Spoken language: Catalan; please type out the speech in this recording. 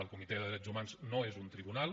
el comitè de drets humans no és un tribunal